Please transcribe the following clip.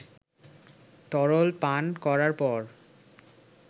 তরল পান করার পর